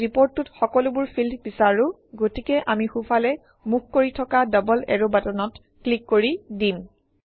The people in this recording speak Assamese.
আমি ৰিপৰ্টটোত সকলোবোৰ ফিল্ড বিচাৰোঁ গতিকে আমি সোঁফালে মুখ কৰি থকা ডবল এৰো বাটনত ক্লিক কৰি দিম